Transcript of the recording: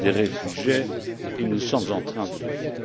des réfugiés et nous sommes en train de le faire.